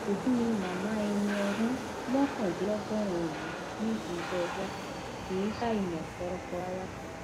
òdú ni màmá ẹni ọdún mọkàndínlọgọrin yìí nídìí iṣẹ tíátá kì í ṣàìmọ fọlọkọ rárá